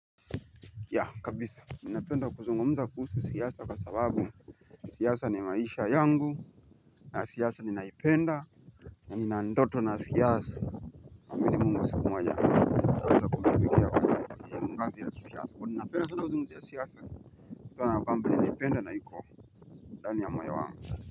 Ya kabisa ninapenda kuzungumza kuhusu siasa kwa sababu siasa ni maisha yangu na siasa ninaipenda na ninandoto na siasa na amini mungu siku moja naweza kumtumikia kwa kazi ya siasa kwani ninapenda sana uzungumzi ya siasa kutokana kwamba ninaipenda na hiko ndani ya mayo wangu.